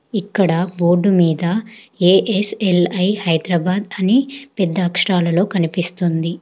ఇక్కడ బోర్డు మీద A S L I Hyderabad అని పెద్ద అక్షరాలలో కనిపిస్తుంది